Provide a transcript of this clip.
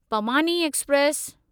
पमानी express